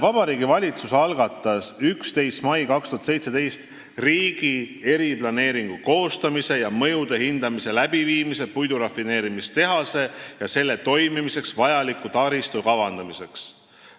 Vabariigi Valitsus algatas 11. mail 2017 riigi eriplaneeringu koostamise ja mõjude hindamise läbiviimise puidurafineerimistehase ja selle toimimiseks vajaliku taristu kavandamiseks.